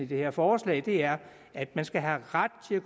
her forslag er at man skal have ret til